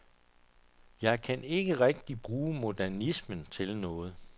Jeg kan ikke rigtigt bruge modernismen til noget.